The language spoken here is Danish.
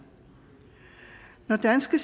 når danske